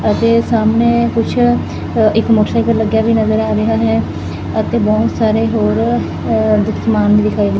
ਅਤੇ ਸਾਹਮਣੇ ਕੁਛ ਇਕ ਮੋਟਰਸਾਈਕਲ ਲੱਗਿਆ ਵੀ ਨਜ਼ਰ ਆ ਰਿਹਾ ਹੈ ਅਤੇ ਬਹੁਤ ਸਾਰੇ ਹੋਰ ਸਮਾਨ ਦਿਖਾਈ ਦੇ ਰਹੇ।